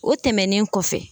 O tɛmɛnen kɔfɛ.